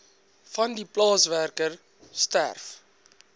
vandie plaaswerker sterf